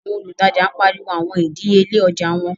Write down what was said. Awọn olùtajà n pariwo awọn idiyele ojạ wọn